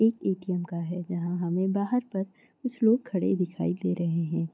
एक ए_टी_एम का है जहाँ हमें बाहर पर कुछ लोग खड़े दिखाई दे रहे हैं।